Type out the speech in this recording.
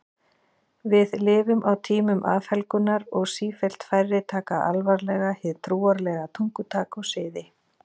Við lifum á tímum afhelgunar og sífellt færri taka alvarlega hið trúarlega tungutak og siði.